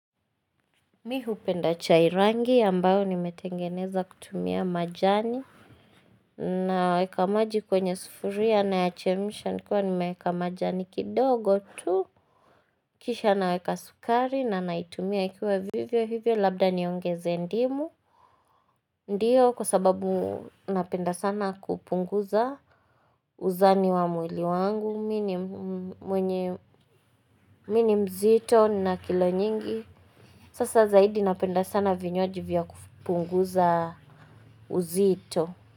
M ihupenda chairangi ambayo nimetengeneza kutumia majani Naweka maji kwenye sufuria nayachemsha nikiwa nimeeka majani kidogo tu Kisha naweka sukari na naitumia ikiwa vivyo hivyo labda niongeze ndimu Ndiyo kwa sababu napenda sana kupunguza uzani wa mwili wangu Mi ni mzito na kilo nyingi Sasa zaidi napenda sana vinywaji vya kupunguza uzito.